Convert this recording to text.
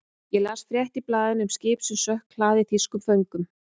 Ég las frétt í blaðinu um skip sem sökk, hlaðið þýskum föngum.